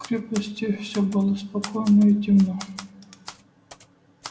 в крепости всё было спокойно и темно